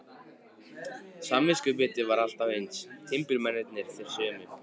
Samviskubitið var alltaf eins, timburmennirnir þeir sömu.